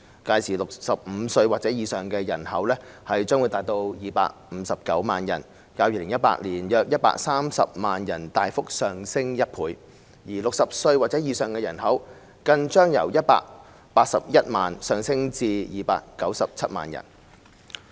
屆時 ，65 歲或以上的人口將達259萬人，較2018年的約130萬人大幅上升1倍 ；60 歲或以上的人口更將由181萬人上升至297萬人。